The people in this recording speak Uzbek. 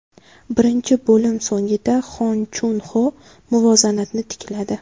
Birinchi bo‘lim so‘ngida Hon Chun Ho muvozanatni tikladi.